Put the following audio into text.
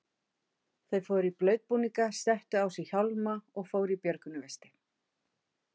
Þau fóru í blautbúninga, settu á sig hjálma og fóru í björgunarvesti.